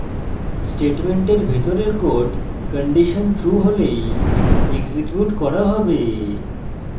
স্টেটমেন্টের ভিতরের code condition true হলেই এক্সিকিউট করা হবে